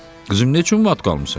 Qızım, neçün mat qalmısan?